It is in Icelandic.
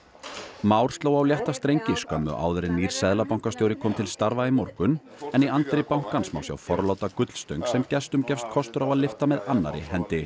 Már sló á létta strengi skömmu áður en nýr seðlabankastjóri kom til starfa í morgun en í anddyri bankans má sjá forláta gullstöng sem gestum gefst kostur á að lyfta með annarri hendi